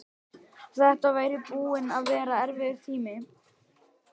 Þetta væri búinn að vera erfiður tími.